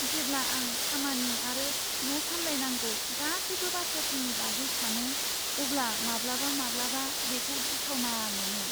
जेब्ला आं खामानि आरो न' सामलायनांगौ गासैबो बाथ्राफोरनि बागै सानो, अब्ला माब्लाबामाब्लाबा बेखौ गिथावना मोनो।